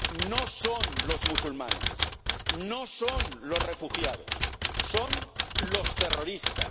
No son los musulmanes, no son los refugiados son los terroristas.